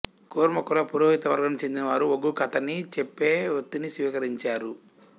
కురుమ కుల పురోహితవర్గానికి చెందినవారు ఒగ్గుకథని చెప్పే వృత్తిని స్వీకరించారు